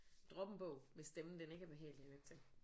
Droppe en bog hvis stemmen den ikke er behagelig at lytte til